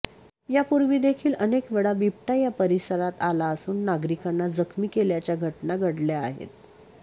यापूर्वीदेखील अनेक वेळा बिबट्या या परिसरात आला असून नागरिकांना जखमी केल्याच्या घटना घडल्या आहेत